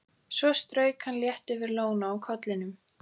Svo strauk hann létt yfir lóna á kollinum.